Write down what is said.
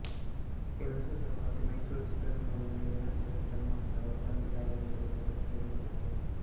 ಕೆಲಸದ ಸಲುವಾಗಿ ಮೈಸೂರು ಚಿತ್ರದುರ್ಗಗಳ ನಡುವೆ ನಿರಂತರ ಸಂಚಾರ ಮಾಡುತ್ತಿದ್ದ ಆವರು ತಂದೆ ತಾಯಿಯರ ಜೊತೆಯಲ್ಲಿ ಜಗತ್ತು ತೆರೆದುಕೊಂಡಿತು